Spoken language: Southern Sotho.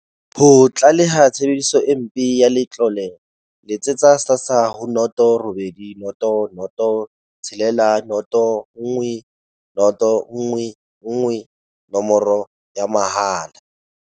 Ho tlaleha tshebediso e mpe ya letlole, letsetsa SASSA ho 0800 60 10 11, nomoro ya mahala.